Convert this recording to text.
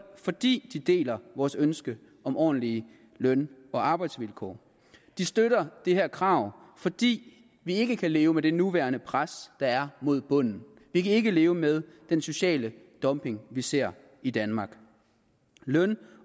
fordi de deler vores ønske om ordentlige løn og arbejdsvilkår de støtter det her krav fordi vi ikke kan leve med det nuværende pres der er mod bunden vi kan ikke leve med den sociale dumping vi ser i danmark løn